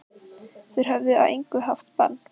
Þeir höfðu að engu haft bann